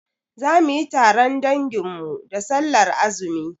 Zamuyi taron dangin mu da sallar azumi